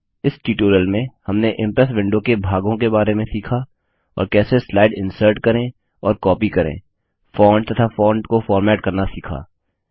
इस ट्यूटोरियल में हमने इम्प्रेस विंडो के भागों के बारे में सीखा और कैसे स्लाइड इन्सर्ट करें और कॉपी करें फॉन्ट तथा फॉन्ट को फॉर्मेट करना सीखा